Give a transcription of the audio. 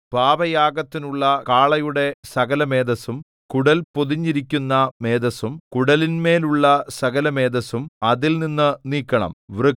പാപയാഗത്തിനുള്ള കാളയുടെ സകലമേദസ്സും കുടൽ പൊതിഞ്ഞിരിക്കുന്ന മേദസ്സും കുടലിന്മേലുള്ള സകലമേദസ്സും അതിൽനിന്ന് നീക്കണം